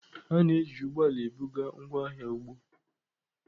A na-eji ụgbọ ala ebuga ngwaahịa ugbo.